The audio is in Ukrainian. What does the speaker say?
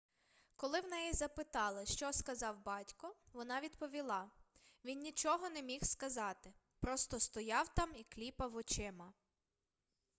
коли в неї запитали що сказав батько вона відповіла він нічого не міг сказати просто стояв там і кліпав очима